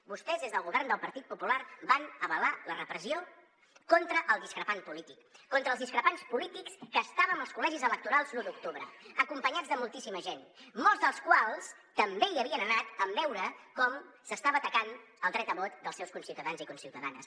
vostès des del govern del partit popular van avalar la repressió contra el discrepant polític contra els discrepants polítics que estàvem als col·legis electorals l’un d’octubre acompanyats de moltíssima gent molts dels quals també hi havien anat en veure com s’estava atacant el dret a vot dels seus conciutadans i conciutadanes